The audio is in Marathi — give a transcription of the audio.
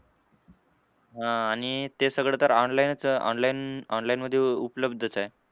हां आणि ते सगळं तर online च online online मधे उपलब्धच आहे.